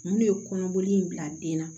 Mun de ye kɔnɔboli in bila den na